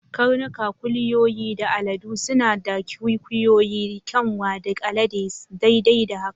Karnuka, kuliyoyi, da aladu suna da kwikwiyo, kyanwa, da alade, daidai da haka.